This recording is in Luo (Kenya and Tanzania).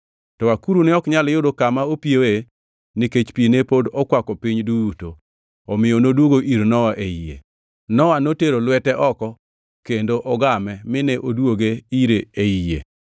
To akuru ne ok nyal yudo kama opiyoe nikech pi ne pod okwako piny duto; omiyo noduogo ir Nowa ei yie. Nowa notero lwete oko kendo ogame mine odwoge ire ei yie.